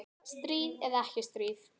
Stríð eða ekki stríð.